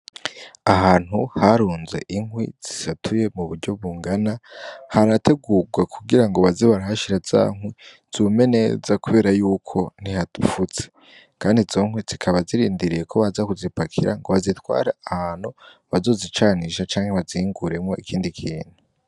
Ahantu harunzwe inkwi zisatuye mu buryo bungana harategugwa kugirango baze barahashira zankwi zume neza kubera yuko ntihafutse kandi zikaba zirindiriye ko baza kuzipakira ngo bazitware ahantu bazozicanisha canke bazihinguremwo ikindi kintu.